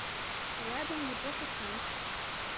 рядом япоша сан